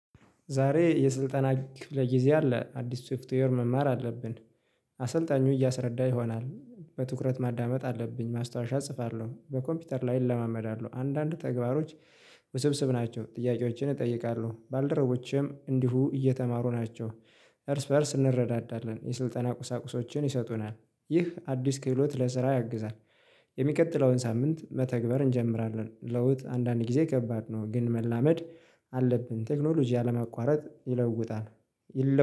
ዛሬ የስልጠና ክፍለ ጊዜ አለ አዲስ ሶፍትዌር መማር አለብን። አሰልጣኙ እያሰረዳ ይሆናል በትኩረት ማዳመጥ አለብኝ ማስታወሻ እጽፋለሁ በኮምፒውተር ላይ እለማመዳለሁ። አንዳንድ ተግባሮች ውስብስብ ናቸው ጥያቄዎችን እጠይቃለሁ ባልደረቦቼም እንዲሁ እየተማሩ ናቸው። እርስ በእርስ እንረዳዳለን የስልጠና ቁሳቁሶችን ይሰጡናል። ይህ አዲስ ክህሎት ለስራ ያግዛል። የሚቀጥለውን ሳምንት መተግበር እንጀምራለን። ለውጥ አንዳንድ ጊዜ ከባድ ነው ግን መላመድ አለብን። ቴክኖሎጂ አለመቋረጥ ይለውጣል። ይለው